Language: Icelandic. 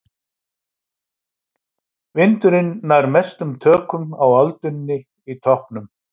Vindurinn nær mestum tökum á öldunni í toppnum.